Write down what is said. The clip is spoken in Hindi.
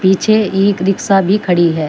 पीछे एक रिक्शा भी खड़ी है।